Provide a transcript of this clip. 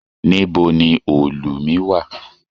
Níbo ni òòlù mi wà?